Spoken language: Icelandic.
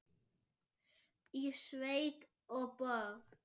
Í sveit og borg.